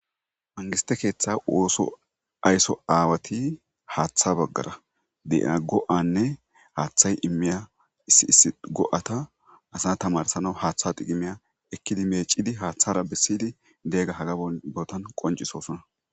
Mangistte keeththa ooso ayiso awati haatha baggara de'iya go'anne haaththay immiya issi issi go'atta asa tamaratsanawu haatha tikkimiya ekkiddi mechiddi haaththara bessiddi de'iyaga haga bollan bootan qonccisosona.